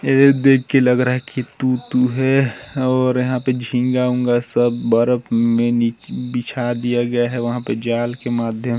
यह देख के लग रहा है की तू तू है और यहाँ पे झींगा उंगा सब बर्फ में निचे बिछा दिया गया है वहा पे जाल के माध्यम--